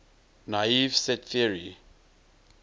naive set theory